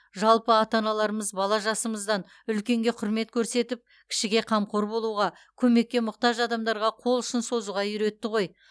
жалпы ата аналарымыз бала жасымыздан үлкенге құрмет көрсетіп кішіге қамқор болуға көмекке мұқтаж адамдарға қолұшын созуға үйретті ғой